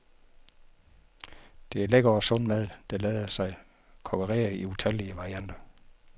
Det er lækker og sund mad, der lader sig kokkerere i utallige varianter.